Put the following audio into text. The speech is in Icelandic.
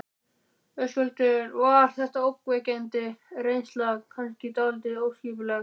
Höskuldur: Var þetta ógnvekjandi reynsla, kannski dálítið óskipulegt?